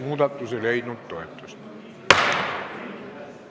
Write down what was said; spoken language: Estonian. Muudatusettepanek ei leidnud toetust.